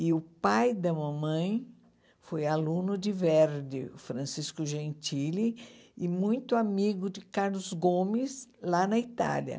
E o pai da mamãe foi aluno de Verdi, Francisco Gentili, e muito amigo de Carlos Gomes, lá na Itália.